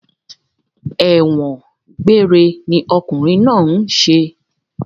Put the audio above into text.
Ẹ̀wọ̀n gbéére ni okùnrin náà ń ṣe